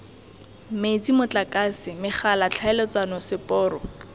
metsi motlakase megala tlhaeletsano seporo